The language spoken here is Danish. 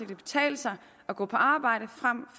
betale sig at gå på arbejde frem